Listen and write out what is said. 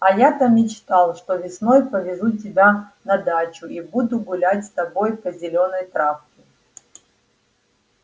а я-то мечтал что весной повезу тебя на дачу и буду гулять с тобой по зелёной травке